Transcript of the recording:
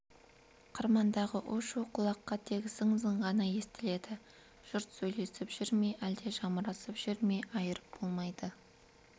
қырмандағы у-шу құлаққа тек зың-зың ғана естіледі жұрт сөйлесіп жүр ме әлде жамырасып жүр ме айырып болмайды